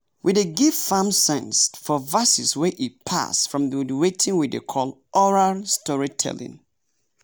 we dey give farm sense for verses wey e pass from the weting we dey call oral storytelling.